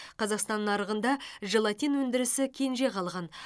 қазақстан нарығында желатин өндірісі кенже қалған